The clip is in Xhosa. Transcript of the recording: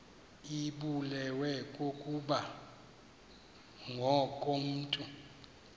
ibulewe kukopha ngokomntu